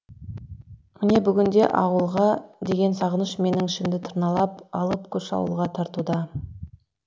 міне бүгінде ауылға деген сағыныш менің ішімді тырналап алып күш ауылға тартуда